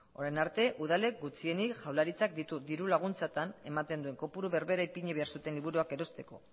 orain arte udalek gutxienik jaurlaritzak diru laguntzatan ematen zuen diru kopuru berdina ipini behar zuten liburuak erosteko